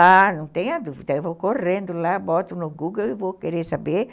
Ah, não tenha dúvida, eu vou correndo lá, boto no Google e vou querer saber